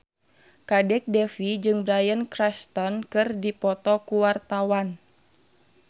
Kadek Devi jeung Bryan Cranston keur dipoto ku wartawan